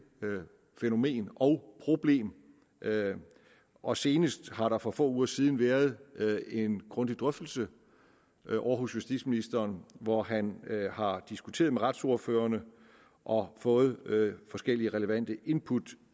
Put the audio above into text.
fænomen og problem og senest har der for få uger siden været en grundig drøftelse ovre hos justitsministeren hvor han har diskuteret med retsordførerne og fået forskellige relevante input